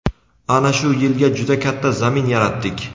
ana shu yilga juda katta zamin yaratdik.